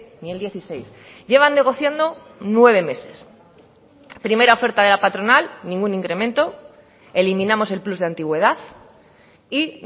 ni el dieciséis llevan negociando nueve meses primera oferta de la patronal ningún incremento eliminamos el plus de antigüedad y